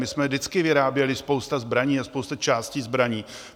My jsme vždycky vyráběli spoustu zbraní a spoustu částí zbraní.